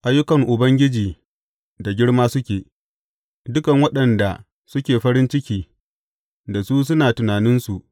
Ayyukan Ubangiji da girma suke; dukan waɗanda suke farin ciki da su suna tunaninsu.